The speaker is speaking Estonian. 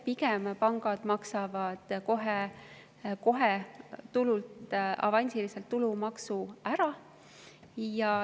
Pigem maksavad pangad kohe tulult avansilise tulumaksu ära.